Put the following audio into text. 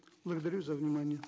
благодарю за внимание